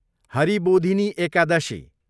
Haribodhini Ekadashi